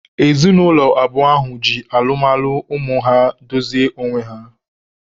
Ezinaụlọ abụọ ahụ ji alụmalụ ụmụ ha dozie onwe ha.